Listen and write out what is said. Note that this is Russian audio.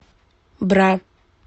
бра